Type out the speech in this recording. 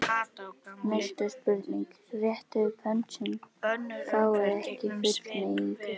Næsta spurning: Réttið upp hönd sem fáið ekki fullnægingu.